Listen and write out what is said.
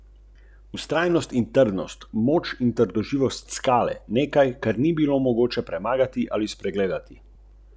Čeprav je polmer večjega kroga dvakrat večji od polmera manjšega kroga, je ploščina večjega kroga štirikrat večja od ploščine manjšega kroga.